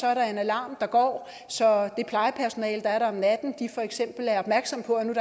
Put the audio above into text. er der en alarm der går så det plejepersonale der er der om natten for eksempel er opmærksomme på at der